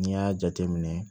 N'i y'a jateminɛ